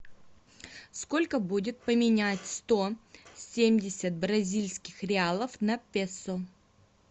сколько будет поменять сто семьдесят бразильских реалов на песо